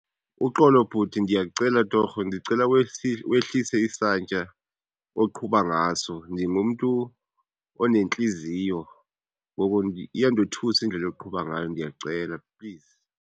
Uxolo, bhuti. Ndiyacela torho, ndicela wehlise isantya oqhuba ngaso. Ndingumntu onentliziyo ngoko iyandothusa indlela oqhuba ngayo, ndiyacela, please.